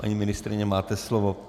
Paní ministryně, máte slovo.